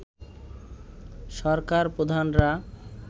সরকার প্রধানরা